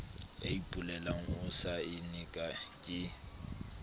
ya ipolelang o saenne ke